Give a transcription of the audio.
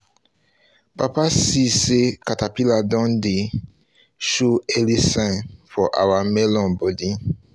papa see say caterpillar don dey show early sign for our melon body